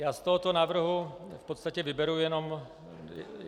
Já z tohoto návrhu v podstatě vyberu jenom...